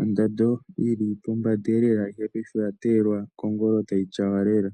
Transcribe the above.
ondando yi li pombanda lela, ihe paife oya teyelwa kongolo tayi tyawa lela.